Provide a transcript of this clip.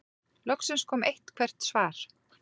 Loksins kom eitthvert svar.